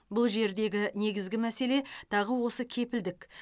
бұл жердегі негізгі мәселе тағы осы кепілдік